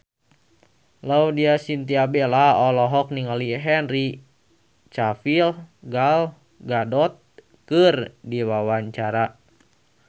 Laudya Chintya Bella olohok ningali Henry Cavill Gal Gadot keur diwawancara